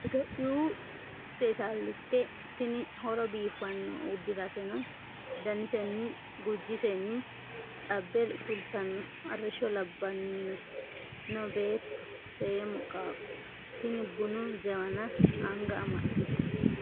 Itophiyu seessalite tini horo biifano uddirasenni daniseni gujisennj xabbe fultano arrishsho labbanniwe no beetto seemmo qaaqqo tini bunu jawana anga amaxite.